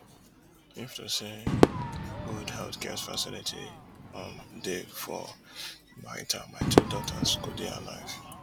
if to say good healthcare facility um dey for baita my two daughters go dey alive